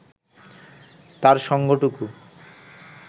তার সঙ্গটুকু